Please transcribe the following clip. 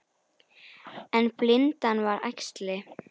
En blindan var æxli.